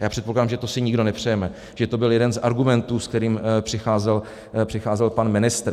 A já předpokládám, že to si nikdo nepřejeme, že to byl jeden z argumentů, se kterým přicházel pan ministr.